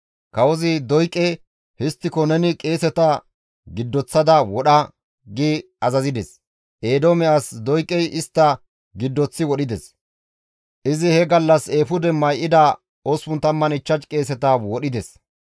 Kawozi Doyqe, «Histtiko neni qeeseta giddoththada wodha» gi azazides; Eedoome as Doyqey istta giddoththi wodhides; izi he gallas eefude may7ida 85 qeeseta wodhides.